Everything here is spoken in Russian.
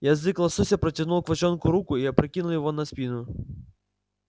язык лосося протянул к волчонку руку и опрокинул его на спину